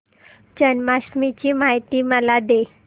जन्माष्टमी ची माहिती मला दे